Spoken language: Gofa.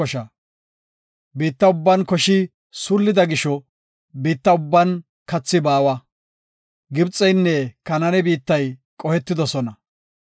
Biitta ubban koshi suullida gisho biittan ubban kathi baawa; Gibxeynne Kanaane biittay qohetidosona.